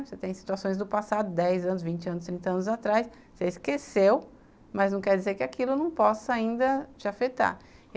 Você tem situações do passado, dez anos, vinte anos, trinta anos atrás, você esqueceu, mas não quer dizer que aquilo não possa ainda te afetar.